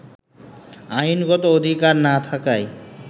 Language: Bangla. আইনগত অধিকার না থাকায়